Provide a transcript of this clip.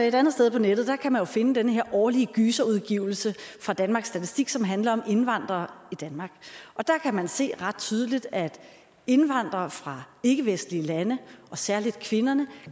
et andet sted på nettet kan man finde den her årlige gyserudgivelse fra danmarks statistik som handler om indvandrere i danmark og der kan man se ret tydeligt at indvandrere fra ikkevestlige lande og særlig kvinderne